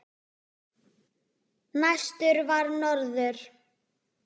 Næstur var norður.